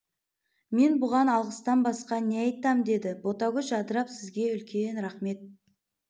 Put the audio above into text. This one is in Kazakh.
мен бұған алғыстан басқа не айтам деді ботагөз жадырап сізге үлкен рахмет